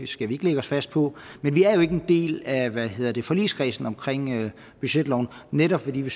skal vi ikke lægge os fast på men vi er jo ikke en del af forligskredsen om budgetloven netop fordi vi